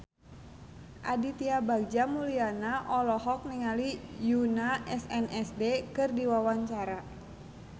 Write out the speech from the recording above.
Aditya Bagja Mulyana olohok ningali Yoona SNSD keur diwawancara